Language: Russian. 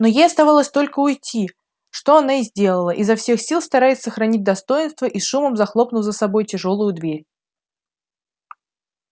но ей оставалось только уйти что она и сделала изо всех сил стараясь сохранить достоинство и с шумом захлопнув за собой тяжёлую дверь